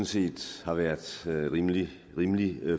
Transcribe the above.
set har været rimelig rimelig